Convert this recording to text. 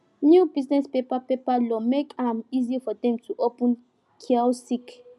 new business paper paper law make am easy for them to open kiosk